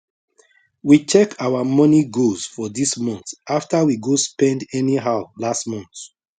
we check our money goals for this month after we go spend anyhow last month